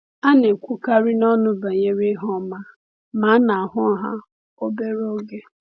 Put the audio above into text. A na-ekwukarị n’ọnụ banyere ihe ọma, ma a na-ahụ ha obere oge.